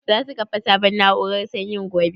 Za su kafa sabon na'urar sanyin gobe?